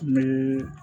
Ni